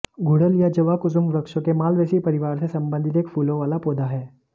गुड़हल या जवाकुसुम वृक्षों के मालवेसी परिवार से संबंधित एक फूलों वाला पौधा है